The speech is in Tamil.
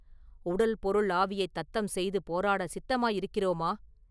உடல் பொருள் ஆவியைத் தத்தம் செய்து போராட சித்தமாயிருக்கிறோமா?